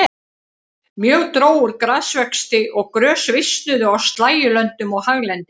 Mjög dró úr grasvexti og grös visnuðu á slægjulöndum og haglendi.